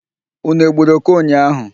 Ụnụ egburu òké ụnyaahụ?